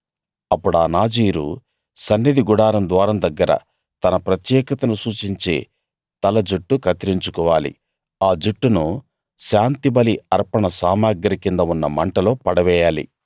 అప్పుడా నాజీరు సన్నిధి గుడారం ద్వారం దగ్గర తన ప్రత్యేకతను సూచించే తల జుట్టు కత్తిరించుకోవాలి ఆ జుట్టును శాంతిబలి అర్పణ సామగ్రి కింద ఉన్న మంటలో పడవేయాలి